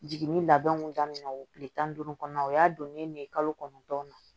Jiginni labɛnw daminɛ tile tan ni duuru kɔnɔna na o y'a donnen ne ye kalo kɔnɔntɔn na